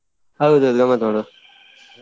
ಹೌದೌದು ಗಮ್ಮತ್ ಮಾಡುವ.